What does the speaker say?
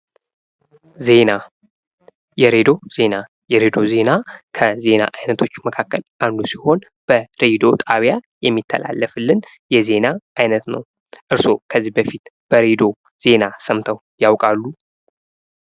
ዜና:-የሬዲዮ ዜና የሬዲዮ ዜና ከዜና አይነቶች መካከል አንዱ ሲሆን በሬዲዮ ጣቢያ የሚተላለፍልን የዜና አይነት ነው። እርሶ ከዚህ በፊት በሬዲዮ ዜና ሰምተው ያውቃሉ?